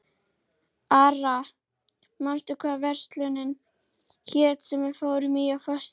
Ara, manstu hvað verslunin hét sem við fórum í á föstudaginn?